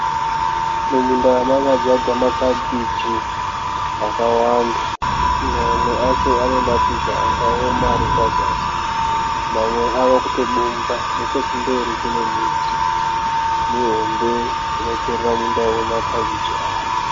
Mumunda makadzvagwa makabhiji, akawanda. Mamwe acho ane mashizha akaoma ari pazasi, mamwe ave kutobumba. Nechekumberi kune miti mihombe kunoperera munda wemakabichi awa.